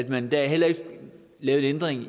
man lavede heller ikke en ændring